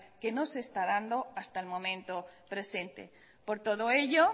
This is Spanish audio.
que no se está dando hasta el momento presente por todo ello